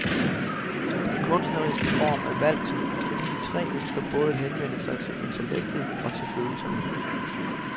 Den kunstneriske form er valgt, fordi de tre ønsker både at henvende sig til intellektet og til følelserne.